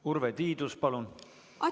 Urve Tiidus, palun!